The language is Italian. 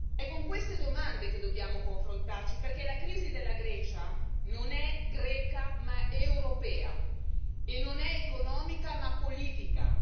È con queste domande che dobbiamo confrontarci, perché la crisi della Grecia non è greca ma europea e non è economica ma politica.